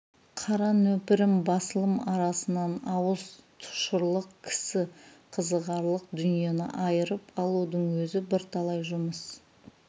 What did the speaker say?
қара нөпірім басылым арасынан ауыз тұшырлық кісі қызығарлық дүниені айырып алудың өзі бірталай жұмыс